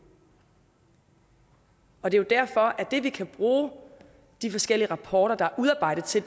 og det er jo derfor at det vi kan bruge de forskellige rapporter der er udarbejdet til